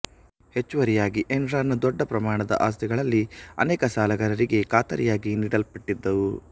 ಹೆಚ್ಚುವರಿಯಾಗಿ ಎನ್ರಾನ್ ನ ದೊಡ್ಡ ಪ್ರಮಾಣದ ಆಸ್ತಿಗಳಲ್ಲಿ ಅನೇಕವು ಸಾಲಗಾರರಿಗೆ ಖಾತರಿಯಾಗಿ ನೀಡಲ್ಪಟ್ಟಿದ್ದವು